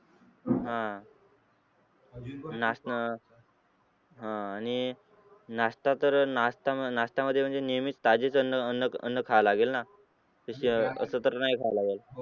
आह अह आणि नाश्ता तर नाश्त्या नाश्त्यामध्ये म्हणजे नेहमीच साधेच करणार खावे लागेल ना असे तर नाही खावा लागेल.